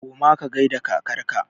Koma ka gaida kakar ka!